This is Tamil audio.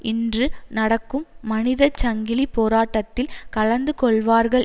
இன்று நடக்கும் மனித சங்கிலி போராட்டத்தில் கலந்து கொள்வார்கள்